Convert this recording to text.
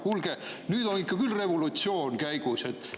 Kuulge, nüüd on ikka küll revolutsioon käigus!